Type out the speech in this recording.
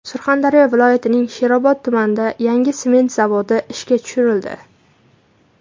Surxondaryo viloyatining Sherobod tumanida yangi sement zavodi ishga tushirildi.